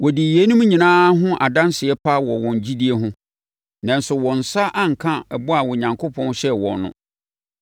Wɔdii yeinom nyinaa ho adanseɛ pa wɔ wɔn gyidie ho, nanso wɔn nsa anka bɔ a Onyankopɔn hyɛɛ wɔn no,